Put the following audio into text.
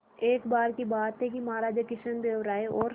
एक बार की बात है कि महाराज कृष्णदेव राय और